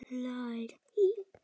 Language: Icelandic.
Hvað orsakar offitu barna?